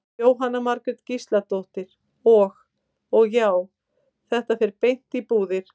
Jóhanna Margrét Gísladóttir: Og, og já, þetta fer beint í búðir?